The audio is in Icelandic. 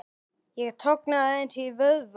Ég tognaði aðeins í vöðva.